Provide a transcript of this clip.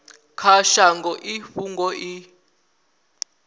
kha shango i fhungo i